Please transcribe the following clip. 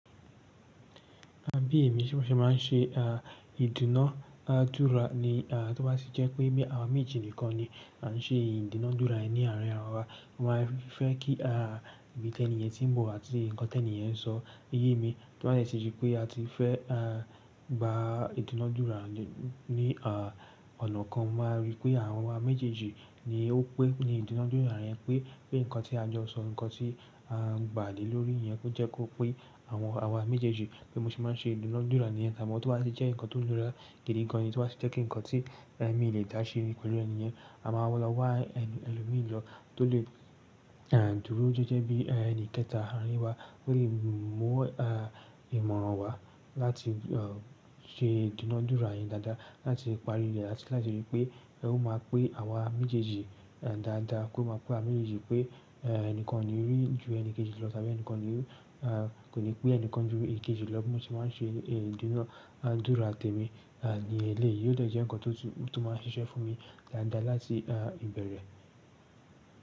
Àbí èmi ṣé ma ṣe máa ń ṣe, ah, ìdúnàádúrà ni, ah, tó bá sì jẹ́ pé bí àwa méjì nìkan ni à ń ṣe ìdúnàádúrà yẹn ní àárín àwa, mo máa fẹ́ kí, ah, ibi tẹ́ẹ̀ní yẹn tí ń bọ̀ àti nǹkan tẹ́ẹ̀ní yẹn ń sọ yé mi, tó ba lè ti di pé a ti fẹ́, ah, gba ìdúnàádúrà ní, ah, ọ̀nà kan máa n rí pé àwa méjèèjì ni ó pẹ́ ní ìdúnàádúrà yẹn pé, pé nǹkan tí a jọ sọ, nǹkan tí a ń gbà lé lórí yẹn kó jẹ́ kó pé àwọn àwa méjèèjì, bi mo se máa ń ṣe ìdúnàádúrà níyẹn. Amo tó bá tì jẹ́ nǹkan tó nira gidi gan ni, tó bá tì jẹ́ pé nǹkan tí eh mi lè dá sí pẹ̀lú ènì yen, a máa lo wá ẹni ẹlòmíì lọ tó lè, ah, dúró jẹ́jẹ́ bí ẹni kẹta aarin wa tó lè mú, ah, ìmọ̀ràn wa láti, ah, ṣe ìdúnàádúrà yẹn dáadáa láti parí rẹ̀ ati láti rí pé ó máa pé àwa méjèèjì, ah, dáadáa kó máa pé àwa méjèèjì pé, ah, ẹnìkan o ni rí ju ẹnikejì lọ tàbí ẹnìkan ni ó, ah, kò ní pé ẹnìkan ju ẹkejì lọ bí mo sì máa ń ṣe ìdúnàádúrà tẹ̀mi, ah, ní eléyìí. Yóò dẹ́ jẹ́ nǹkan tó, tó máa ṣiṣẹ́ fún mi dáadáa láti, ah, ìbẹ̀rẹ̀.